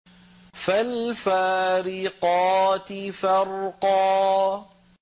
فَالْفَارِقَاتِ فَرْقًا